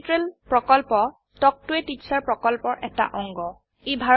spoken tutorial প্ৰকল্প talk to a teacher প্ৰকল্পৰ এটা অংগ